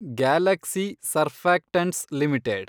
Galaxy Surfactants limited